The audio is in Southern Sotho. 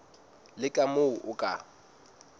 le ka moo o ka